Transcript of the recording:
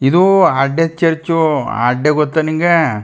ಇದು ಅಡ್ಡೆ ಚರ್ಚು ಅಡ್ಡೆ ಗೊತ್ತಾ ನಿಂಗೆ.